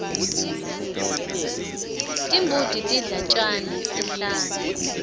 timbuti tidla tjani enhlane